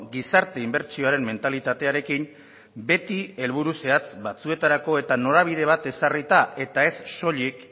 gizarte inbertsioaren mentalitatearekin beti helburu zehatz batzuetarako eta norabide bat ezarrita eta ez soilik